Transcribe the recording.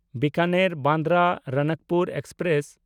Bikaner Bandra Ranakpur express